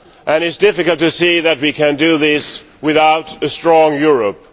It is difficult to see how we can do this without a strong Europe.